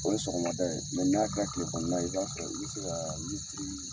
O ye sɔgɔmada ye mɛ n'a kɛra tile kɔnɔna ye i b'a fɛ sɔrɔ i bɛ se ka